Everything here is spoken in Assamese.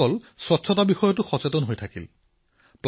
আয়োজকসকলে স্বচ্ছতাৰ প্ৰতিও ধ্যান ৰাখিলে